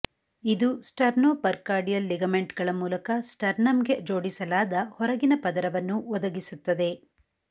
ಇದು ಸ್ಟರ್ನೊಪರ್ಕಾರ್ಕಾರ್ಡಿಯಲ್ ಲಿಗಮೆಂಟ್ಗಳ ಮೂಲಕ ಸ್ಟರ್ನಮ್ಗೆ ಜೋಡಿಸಲಾದ ಹೊರಗಿನ ಪದರವನ್ನು ಒದಗಿಸುತ್ತದೆ